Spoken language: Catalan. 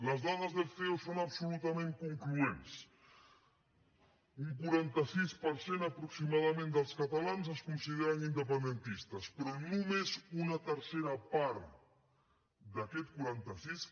les dades del ceo són absolutament concloents un quaranta sis per cent aproximadament dels catalans es consideren independentistes però només una tercera part d’aquest quaranta sis